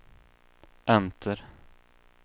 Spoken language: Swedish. enter